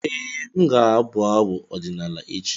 Ee, m ga-abụ abụ ọdịnala echi.